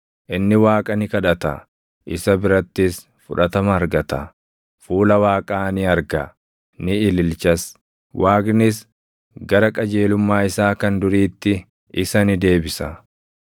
Inni Waaqa ni kadhata; isa birattis fudhatama argata; fuula Waaqaa ni arga; ni ililchas; Waaqnis gara qajeelummaa isaa kan duriitti isa ni deebisa.